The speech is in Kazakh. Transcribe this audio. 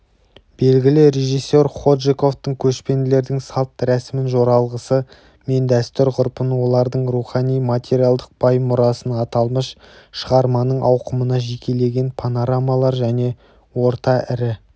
белгілі режиссер ходжықовтың көшпенділердің салтын рәсім-жоралғысы мен дәстүр-ғұрпын олардың рухани-материалдық бай мұрасын аталмыш шығарманың ауқымына жекелеген панорамалар және орта-ірі